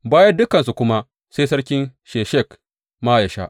Bayan dukansu kuma, sai sarkin Sheshak ma yă sha.